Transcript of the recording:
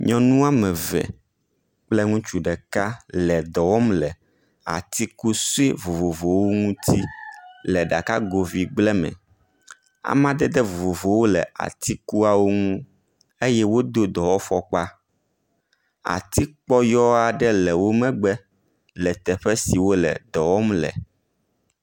Nyɔnu ame eve kple ŋutsu ɖeka le dɔ wɔm le atiku sue vovovowo ŋuti le ɖakagovigble me. Amadede vovovowo le atikuawo ŋu eye wodo dɔwɔfɔkpa. Ati kpɔya aɖe le wo megbe le teƒe si wole dɔ wɔm le.